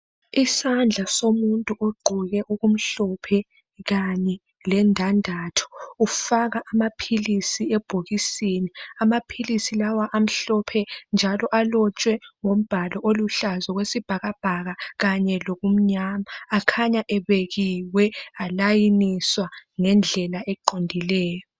Isandla somuntu ogqoke okumhlophe kanye lendandatho ufaka amaphilisi ebhokisini. Lamaphilisi amhlophe njalo alotshwe ngombalo oluhlaza okwesibhakabhaka kanye lomnyama. Akhanya ebekiwe alayiniswa ngendlela eqondileyo.